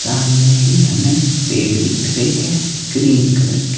सामने ही हमें पेड़ दिख रहे हैं ग्रीन कलर के--